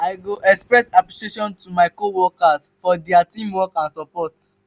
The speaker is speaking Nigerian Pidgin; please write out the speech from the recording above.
i go express appreciation to my coworkers for dia teamwork and support.